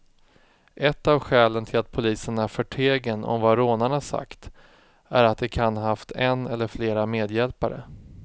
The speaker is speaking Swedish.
Ett av skälen till att polisen är förtegen om vad rånarna sagt är att de kan ha haft en eller flera medhjälpare.